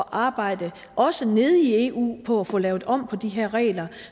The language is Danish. arbejde også nede i eu på at få lavet om på de her regler